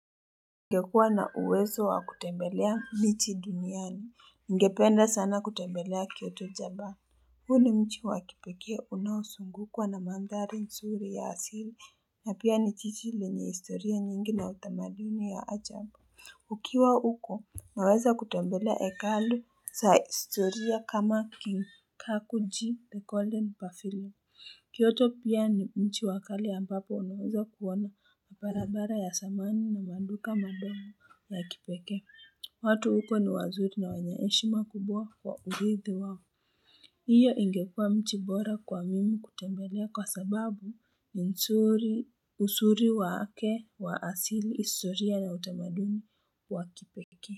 Ningekuwa na uwezo wa kutembelea miji duniani. Ningependa sana kutembelea Kyoto Japani. Huu nchi wa kipekee unaozungukwa na mandhari nzuri ya asili na pia ni jiji lenye historia nyingi na utamaduni wa ajabu. Ukiwa huko, unaweza kutembelea hekalu za historia kama King Kakuji, The Golden Pavilion. Kiyoto pia ni mji wa kale ambapo unaweza kuona barabara ya zamani na maduka madogo ya kipekee. Watu huko ni wazuri na wenye heshima kubwa kwa uridhi wao. Hiyo ingekua mji bora kwa mimi kutembelea kwa sababu ni nzuri, uzuri wake wa asili, historia na utamaduni wa kipekee.